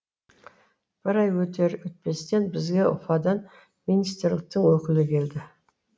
бір ай өтер өтпестен бізге уфадан министрліктің өкілі келді